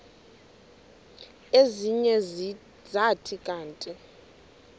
ezinye zathi kanti